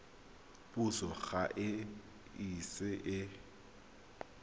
puso ga e ise e